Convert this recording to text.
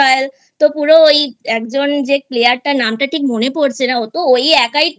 তো পুরো ওই একজন যে Player তার নামটা ঠিক মনে পড়ছে না ওতো ওই একাই